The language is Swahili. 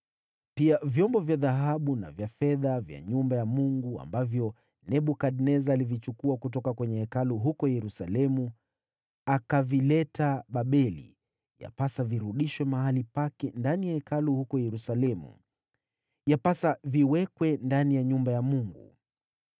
Pia, vyombo vya dhahabu na vya fedha vya nyumba ya Mungu, ambavyo Nebukadneza alivichukua kutoka kwenye Hekalu huko Yerusalemu akavileta Babeli, yapasa virudishwe mahali pake ndani ya Hekalu huko Yerusalemu, yapasa viwekwe ndani ya nyumba ya Mungu.